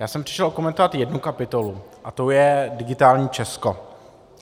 Já jsem přišel okomentovat jednu kapitolu, a tou je digitální Česko.